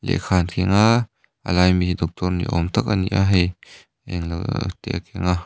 lehkha an thing a a lai a mi hi doctor ni awm tak a ni a hei englo te a keng a.